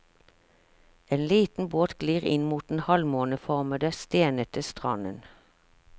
En liten båt glir inn mot den halvmåneformede, stenete stranden.